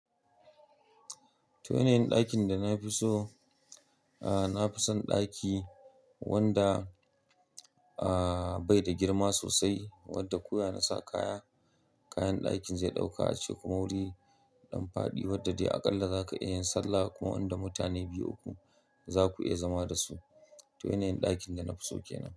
To, yanayin ɗakin da na fi so? Aaa, na fi son ɗaki wanda aaa bai da girma sosai, wanda koya na sa kaya. Kayan ɗakin zai ɗauka ace kuma wuri dan fadi wanda dai aƙalla za ka iya yin sallah kuma inda mutane biyu uku za ku iya zama da su. To, yanayin ɗakin da na fi so ke nan.